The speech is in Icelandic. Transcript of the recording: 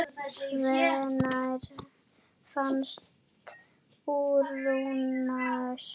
Hvenær fannst Úranus?